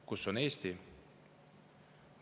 Kus on Eesti?